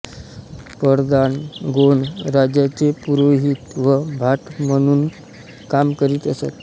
परधान गोंड राजाचे पुरोहित व भाट म्हणून काम करीत असत